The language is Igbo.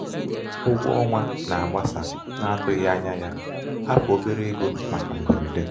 ụgwọ ọnwa ọnwa na-agbasa n'atụghị ányá ya hapụ obere ego màkà mgberede.